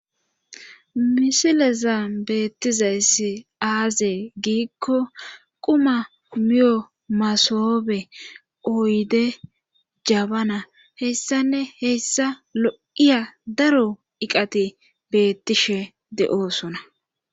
Misileza beettizayssi aazee giikko quma miyo masobe oyde jabana hessanne hessa lo'iya daro iqati bettishe de'oosona.